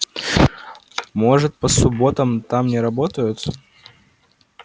может по субботам там не работают